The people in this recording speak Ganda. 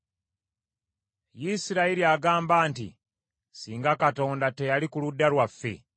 Isirayiri agamba nti, singa Katonda teyali ku ludda lwaffe,